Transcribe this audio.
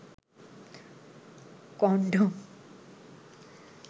condom